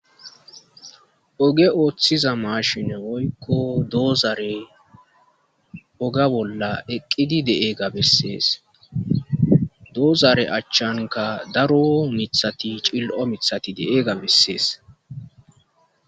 Oge ooththiza mashine oykko doozare oga bolla eqqidi deeega bessees doozare achchanka daro mithati cil7o mithati de7ega bessees